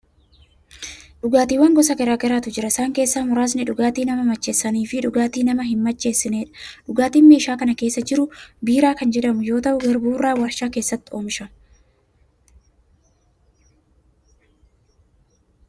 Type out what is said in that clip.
Dhugaatiiwwan gosa garaa garaatu jiru. Isaan keessaa muraasni: dhugaatii nama macheessanii fi dhugaatii nama hin macheessinedha. Dhugaatiin meeshaa kana keessa jiru biiraa kan jedhamu yoo ta'u, garbuu irraa waarshaa keessatti oomishama.